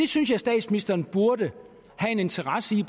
synes statsministeren burde have en interesse i